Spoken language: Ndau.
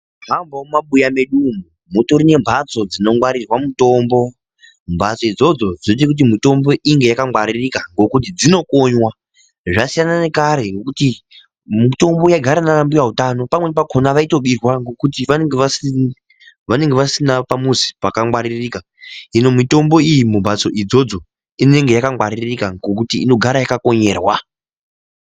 Nyangwewo mumabuya mwedu umo, mutori nembatso dzinongwarirwa mutombo, mbatso idzodzo dzoite kuti mitombo inge yakangwaririka ngokuti dzinokonyiwa, zvasiyana nekare ngokuti mitombo yaigara naana mbuya utano pamweni pakona vaitobirwa ngokuti vanenge vasina pamuzi pakangwaririka hino mitombo iyi mumbatso idzodzo inenge yakangwaririka ngokuti inogara yakakonyerwa.